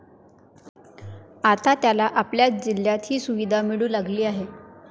आता त्याला आपल्याच जिल्ह्यात ही सुविधा मिळू लागली आहे.